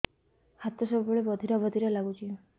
ହାତ ସବୁବେଳେ ବଧିରା ବଧିରା ଲାଗୁଚି